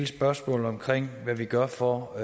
spørgsmålet om hvad vi gør for at